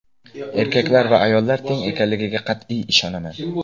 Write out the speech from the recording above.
Erkaklar va ayollar teng ekanligiga qat’iy ishonaman.